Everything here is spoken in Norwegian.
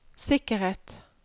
sikkerhet